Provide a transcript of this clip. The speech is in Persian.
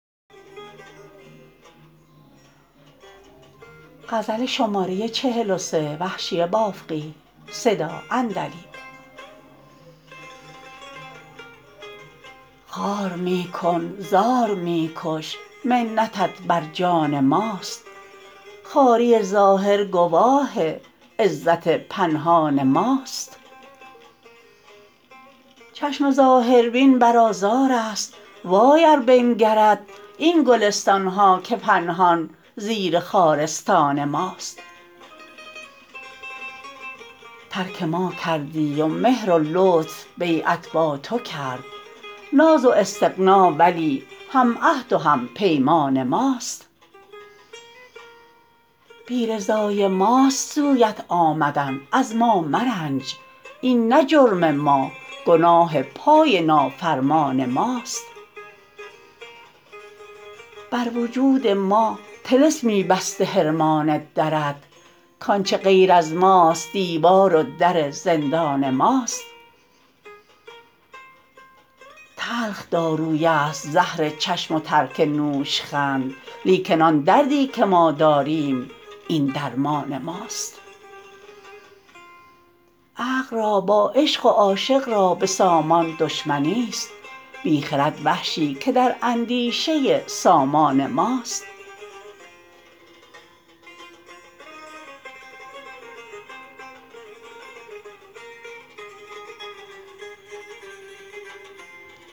خوار می کن زار می کش منتت بر جان ماست خواری ظاهر گواه عزت پنهان ماست چشم ظاهر بین بر آزار است وای ار بنگرد این گلستانها که پنهان زیر خارستان ماست ترک ما کردی و مهر و لطف بیعت با تو کرد ناز و استغنا ولی هم عهد و هم پیمان ماست بی رضای ماست سویت آمدن از ما مرنج این نه جرم ما گناه پای نافرمان ماست بر وجود ما طلسمی بسته حرمان درت کانچه غیر از ماست دیوار و در زندان ماست تلخ داروی است زهر چشم و ترک نوشخند لیکن آن دردی که ما داریم این درمان ماست عقل را با عشق و عاشق را به سامان دشمنیست بی خرد وحشی که در اندیشه سامان ماست